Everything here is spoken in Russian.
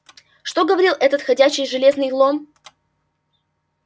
что говорил этот ходячий железный лом